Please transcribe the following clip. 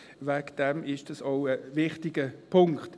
Deswegen ist dies auch ein wichtiger Punkt.